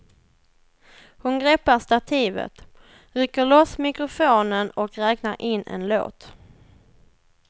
Hon greppar stativet, rycker loss mikrofonen och räknar in en låt.